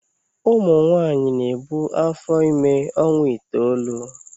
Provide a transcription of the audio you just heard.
Ụmụ nwanyị na-ebu afọ ime ọnwa itoolu.